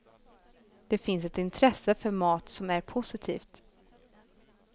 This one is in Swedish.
Det finns ett intresse för mat som är positivt.